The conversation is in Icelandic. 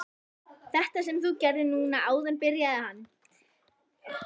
Þetta sem þú gerðir núna áðan byrjaði hann.